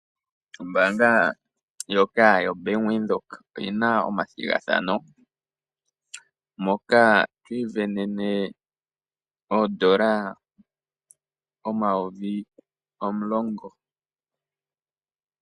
Ombanga ndjoka ya Bank Windhoek oyina omathigathano moka twii sindanene oondola omayovi omulongo.